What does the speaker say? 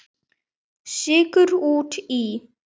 Sykur út í.